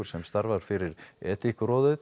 sem starfar fyrir